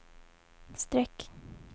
streck